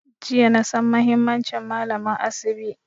Jiya na san muhimmancin malamin asibi